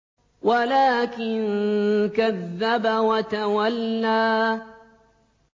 وَلَٰكِن كَذَّبَ وَتَوَلَّىٰ